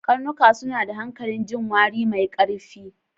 Karnuka suna da hanƙalin jin wari mai ƙarfi.